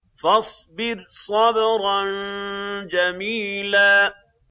فَاصْبِرْ صَبْرًا جَمِيلًا